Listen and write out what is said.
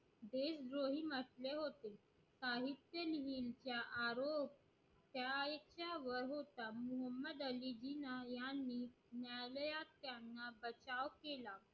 देशद्रोही म्हटले होते जिना यांनी न्यायालयात बचाव त्यांना केला